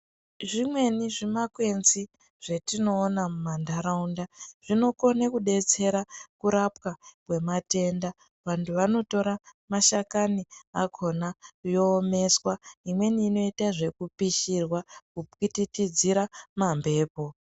Zvimweni zvimakwenzi zvatinoona mumandaraunda zvinokona kudetsera kurapwa kwematenda vantu vanotora mashakani yoomeswa imweni inoita zvekupishirwa kupwititidzira mambepo.